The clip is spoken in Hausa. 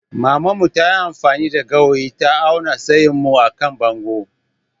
Maman mu ta yi amfani da gawayi ta awna tsayin mu à kan bongo.